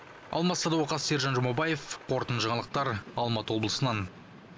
алмас садуақас сержан жұмабаев қорытынды жаңалықтар алматы облсынан